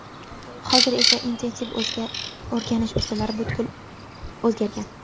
Hozir esa intensiv o‘rganish usullari butkul o‘zgargan.